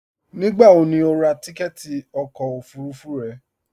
Nígbàwò ní o rà tìkẹ̀tì ọkọ ofurufú rẹ?